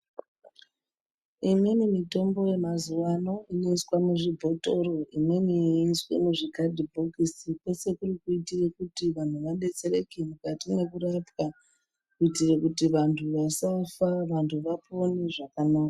Imweni mitombo yemazuva ano inoiswa muzvibhotoro imweni yeiiswe muzvikadhibhokisi kwese kuri kuitire kuti vanhu vabetsereke mukati mwekurapwa kuitire kuti vantu vasafa, vantu vapone zvakanaka.